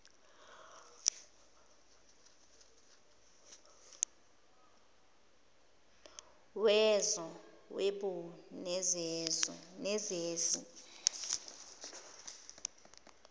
wezo whebo nezezi